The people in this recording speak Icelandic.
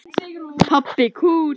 Pabbi kúl!